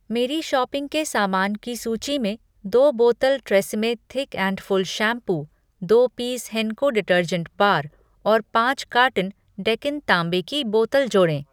मेरी शॉपिंग के सामान की सूची में दो बोतल Tresemme thick and full shampoo, दो पीस हेंको डिटर्जेंट बार और पाँच कार्टन डेकन तांबे की बोतल जोड़ें।